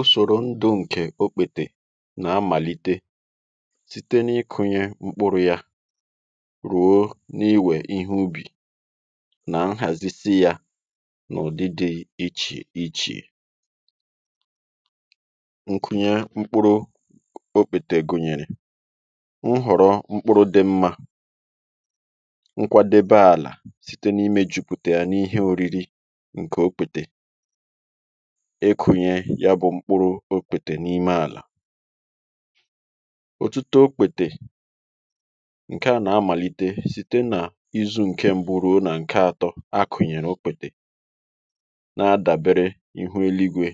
Usòrò ndu ǹkè okpètè nà-amàlite site n’ikunye mkpụrụ̇ ya ruo n’iwè ihe ubì nà nhàzisi ya n’ụ̀dị dị̇ ichè ichè. Nkunye mkpụrụ okpètè gụ̀nyèrè nhọ̀rọ mkpụrụ̇ dị mmȧ, nkwadebe àlà site n’ime jùpùtè ya n’ihe òriri ǹkè okpètè, ekùnye ya bụ̀ mkpụrụ okpètè n’ime àlà, òtụtụ okpètè ǹke à nà-amàlìtè site nà izu̇ ǹke m̀bụ ruo nà ǹke atọ akụ̀nyèrè okpètè nà-adàbere ihu eluigwė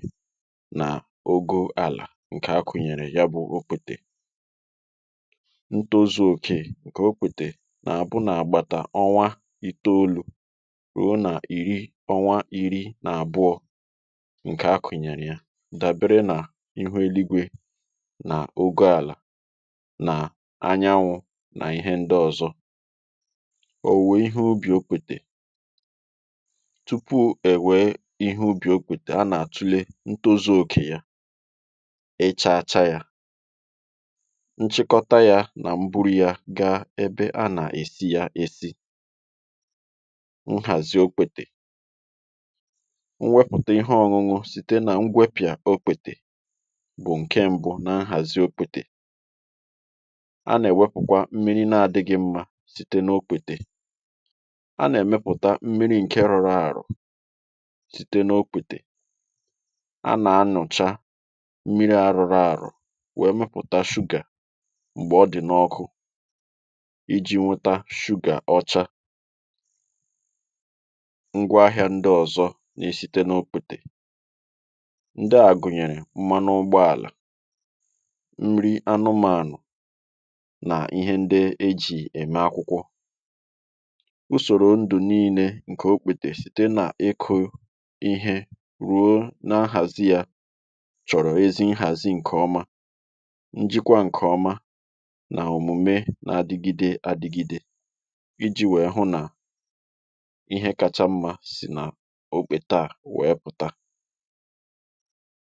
nà ogo àlà ǹkè akụ̀nyèrè ya bụ̀ okpètè, ntȯzu̇ òkè ǹkè okpètè nà-àbụ nà-àgbàtà ọnwa itolu̇ ruo nà ìri ọnwa ìri nà àbụọ̇ nke akụ̀nyèrè ya dàbere n’ihu eluigwė n’ogo àlà nà anyanwụ̇ nà ihe ndị ọ̀zọ. Owuwe ihe ubì okwètè, tupu ẹ̀ wẹ̀ẹ ihe ubì okwètè a nà-àtule ntozu̇ okè ya, ị chȧcha yȧ, nchịkọta yȧ nà mburu̇ ya gaa ebe a nà-èsi yȧ èsi. Nhazi okpètè, mweputa ihe ọ̇ṅụṅụ site nà ngwẹpịà okpètè bụ̀ ǹkẹ mbụ nà nhàzi okpètè, a nà ẹ̀wẹpụ̀kwa mmiri na àdịghị̇ mmȧ site n’okpètè a nà ẹ̀mẹpụ̀ta mmiri ǹkẹ rọrọ àro site n’okwètè a nà anụ̀cha mmiri a rọrọ àro wèe mepụ̀ta sugar m̀gbè ọ dị̀ n’ọkụ iji̇ nwụta sugar ọcha. Ngwa ahịa ndị ọzọ na-esite n'okpete, ndị à gụ̀nyèrè mmanụ ụgbọàla, nri anụmȧnụ̀ nà ihe ndị ejì ème akwụkwọ, usòrò ndụ̀ niilė ǹkè okpètè site n’iko ihe ruo n’ahàzi yȧ chọ̀rọ̀ ezi nhàzi ǹkè ọma, njikwa ǹkè ọma nà òmume n’adịgide adịgide iji̇ wee hụ nà ihe kacha mmȧ sì na okpètè a wee pụta.